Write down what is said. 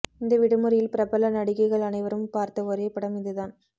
இந்த விடுமுறையில் பிரபல நடிகைகள் அனைவரும் பார்த்த ஒரே படம் இதுதான்